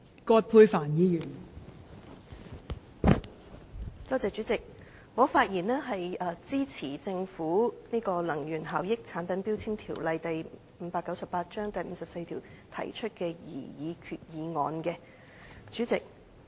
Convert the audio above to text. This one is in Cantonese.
代理主席，我發言支持政府根據《能源效益條例》第54條提出的擬議決議案。